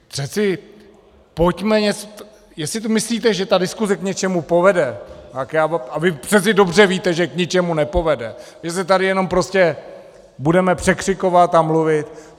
Přece pojďme něco - jestli si myslíte, že ta diskuse k něčemu povede, a vy přece dobře víte, že k ničemu nepovede, že se tady jenom prostě budeme překřikovat a mluvit.